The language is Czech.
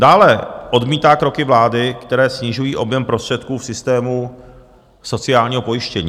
Dále odmítá kroky vlády, které snižují objem prostředků v systému sociálního pojištění.